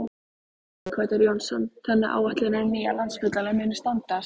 Sighvatur Jónsson: Þannig að áætlanir um nýjan Landspítala munu standast?